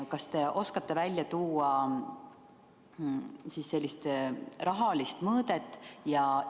Kas te oskate välja tuua rahalist mõõdet?